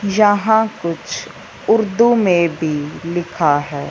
यहाँ कुछ उर्दू में भी लिखा है।